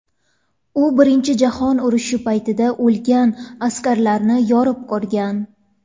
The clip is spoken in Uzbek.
U birinchi jahon urishi paytida o‘lgan askarlarni yorib ko‘rgan.